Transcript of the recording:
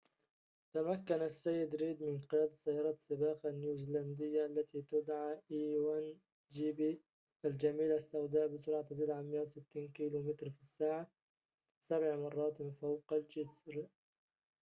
تمكن السيد ريد من قيادة سيارة سباق a1gp النيوزيلندية، التي تدعى الجميلة السوداء بسرعة تزيد عن ١٦٠ كم/ ساعة سبع مراتٍ فوق الجسر